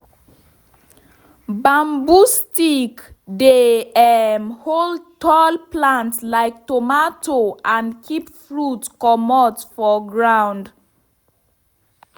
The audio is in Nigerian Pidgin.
bamboo stick dey um hold tall plant like tomato and keep fruit comot for ground.bamboo stick dey um hold tall plant like tomato and keep fruit comot for ground.